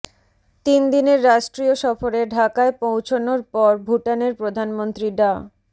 তিন দিনের রাষ্ট্রীয় সফরে ঢাকায় পৌঁছানোর পর ভুটানের প্রধানমন্ত্রী ডা